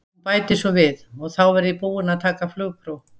Hún bætir svo við: og þá verð ég búin að taka flugpróf.